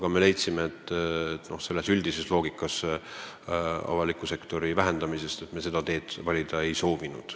Arvestades aga üldist loogikat ja praegust avaliku sektori vähendamist, me seda teed valida ei soovinud.